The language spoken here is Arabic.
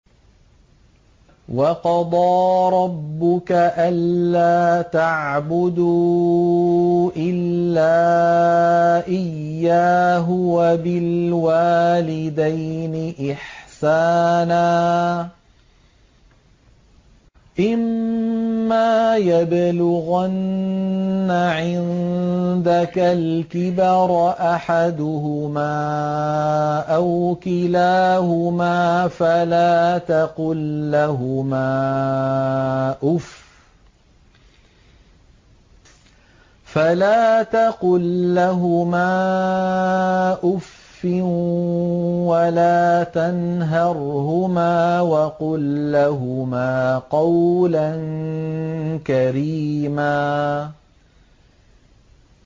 ۞ وَقَضَىٰ رَبُّكَ أَلَّا تَعْبُدُوا إِلَّا إِيَّاهُ وَبِالْوَالِدَيْنِ إِحْسَانًا ۚ إِمَّا يَبْلُغَنَّ عِندَكَ الْكِبَرَ أَحَدُهُمَا أَوْ كِلَاهُمَا فَلَا تَقُل لَّهُمَا أُفٍّ وَلَا تَنْهَرْهُمَا وَقُل لَّهُمَا قَوْلًا كَرِيمًا